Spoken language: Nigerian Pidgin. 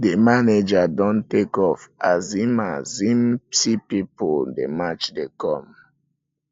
di manager don take off as im as im see pipu dey match dey come